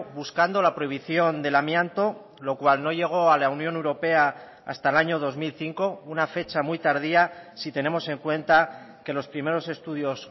buscando la prohibición del amianto lo cual no llegó a la unión europea hasta el año dos mil cinco una fecha muy tardía si tenemos en cuenta que los primeros estudios